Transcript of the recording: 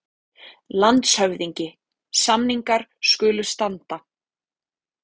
LANDSHÖFÐINGI: Samningar skulu standa.